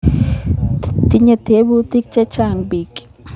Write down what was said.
Tinyei teputik chechang' piik